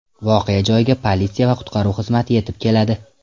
Voqea joyiga politsiya va qutqaruv xizmati yetib keladi.